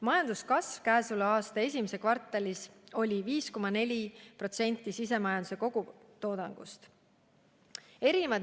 Majanduskasv selle aasta esimeses kvartalis oli 5,4% SKT-st.